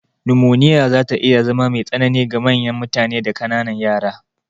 Numoniya zata iya zama me tsanini ga manyan mutane da ƙananan yara.